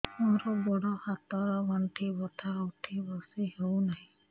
ମୋର ଗୋଡ଼ ହାତ ର ଗଣ୍ଠି ବଥା ଉଠି ବସି ହେଉନାହିଁ